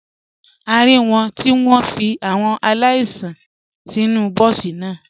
A rí wọn tí wọ́n fi àwọn aláìsàn sínú bọ́ọ̀sì náà.